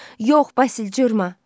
Yox, Basil cırma.